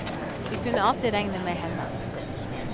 Vi kunne alltid regne med henne.